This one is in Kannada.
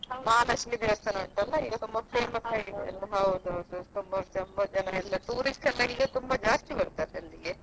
ಮಹಾಲಕ್ಷ್ಮಿ ದೇವಸ್ಥಾನ ಉಂಟಲ್ಲ ಈಗ ತುಂಬಾ famous ಆಗಿದೆ ಅಲ್ಲ ಹೌದೌದು ತುಂಬ ತುಂಬ ಜನ tourist ಎಲ್ಲಾ ತುಂಬಾ ಜಾಸ್ತಿ ಬರ್ತಾರೆ ಅಲ್ಲಿಗೆ.